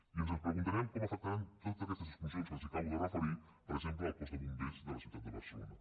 i ens preguntem com afectaran totes aquestes exclu·sions que els acabo de referir per exemple al cos de bombers de la ciutat de barcelona